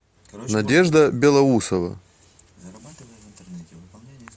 надежда белоусова